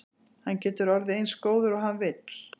Hann getur orðið eins góður og hann vill.